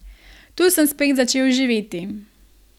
Tu sem spet začel živeti.